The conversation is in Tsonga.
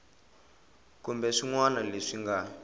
kumbe swin wana leswi nga